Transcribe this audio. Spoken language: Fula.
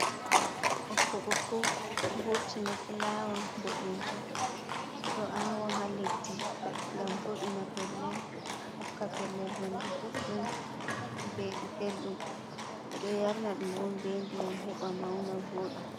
Ɓokko bokko vurti ni fulawa boɗejum ɓe ɗo awa ha leddi gam vo’ina pellel hokka pellel hendu boɗɗum belɗum, ɓeɗo yamna ɗum on be ndiyam heba mauna voɗa.